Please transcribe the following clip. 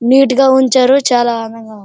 neat గా ఉంచారు చాలా అందంగా--